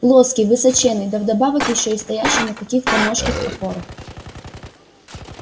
плоский высоченный да вдобавок ещё и стоящий на каких-то ножках-опорах